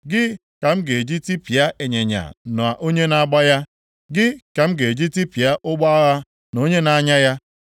gị ka m ga-eji tipịa ịnyịnya na onye na-agba ya, gị ka m ga-eji tipịa ụgbọ agha na onye na-anya ya;